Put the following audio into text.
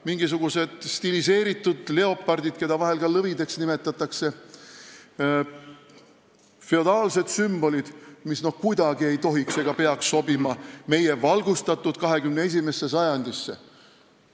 Mingisugused stiliseeritud leopardid, keda vahel lõvideks nimetatakse, on feodaalsed sümbolid, mis ei tohiks ega peaks kuidagi sobima valgustatud 21. sajandisse.